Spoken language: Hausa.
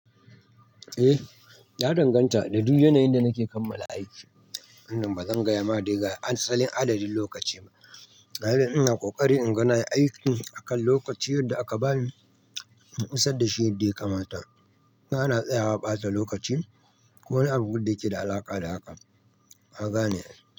Eh, ya danganta da duk yanayin da nake kammala aiki. Wannan ba zan gaya ma dai ga asalin adadin lokaci ba. Kaga ina kokari in ga nayi aiki akan lokaci yadda aka bani, in isar da shi yadda ya kamata. Ba na tsaya wa bata lokaci ko wani abu da yake da alaƙa da haka, kagane.